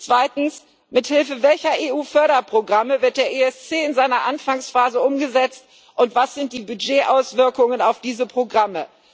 Zweitens Mithilfe welcher EU Förderprogramme wird der ESC in seiner Anfangsphase umgesetzt, und was sind die Budgetauswirkungen auf diese Programme?